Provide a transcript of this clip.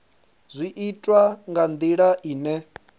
zwi itwa nga ndila ine